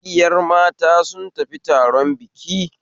Ƙungiyar mata sun tafi taron biki